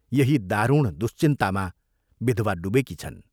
यही दारुण दुश्चिन्तामा विधवा डुबेकी छन्।